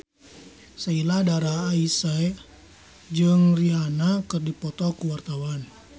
Sheila Dara Aisha jeung Rihanna keur dipoto ku wartawan